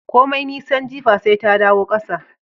Komi nisan jipi, sai ta dawo kasa